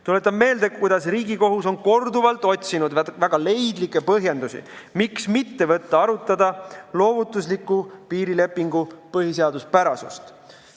Tuletan meelde, kuidas Riigikohus on korduvalt otsinud väga leidlikke põhjendusi, miks mitte võtta arutada loovutusliku piirilepingu põhiseaduspärasust.